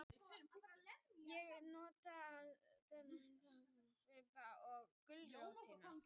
Ég notast við þetta enn í dag, svipuna og gulrótina.